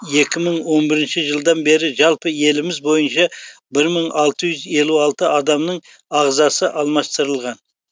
екі мың он бірінші жылдан бері жалпы еліміз бойынша бір мың алты жүз елу алты адамның ағзасы алмастырылған